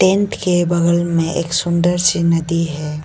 Tent के बगल में एक सुंदर सी नदी है।